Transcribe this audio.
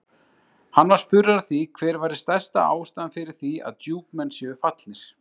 Hann var spurður að því hver væri stærsta ástæðan fyrir því að Djúpmenn séu fallnir?